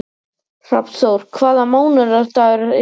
Hrafnþór, hvaða mánaðardagur er í dag?